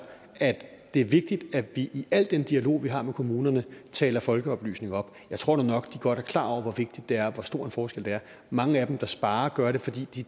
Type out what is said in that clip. at det er vigtigt at vi i al den dialog vi har med kommunerne taler folkeoplysning op jeg tror nu nok de godt er klar over hvor vigtigt det er og hvor stor en forskel der er mange af dem der sparer gør det fordi de